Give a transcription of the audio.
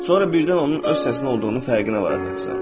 Sonra birdən onun öz səsi olduğunu fərqinə varacaqsan.